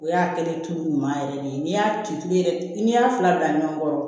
O y'a kɛlen tu ɲuman yɛrɛ de ye n'i y'a tulonkɛ i y'a fila bila ɲɔgɔn kɔrɔ